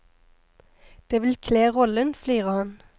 Det vil kle rollen, flirer han.